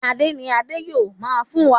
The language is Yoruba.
Ẹsẹ̀ ní Ade yíò fún rìn wá